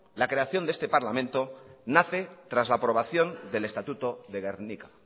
nace tras la aprobación del estatuto de gernika